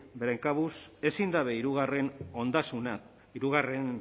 beren kabuz ezin dabe hirugarrenen